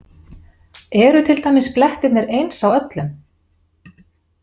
Eru til dæmis blettirnir eins á öllum?